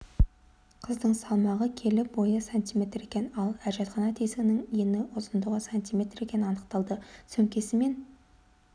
қыздың салмағы келі бойы сантиметр екен ал әжетхана тесігінің ені ұзындығы сантиметр екені анықталды сөмкесі мен